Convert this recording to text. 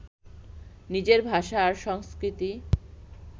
নিজের ভাষা আর সংস্কৃতি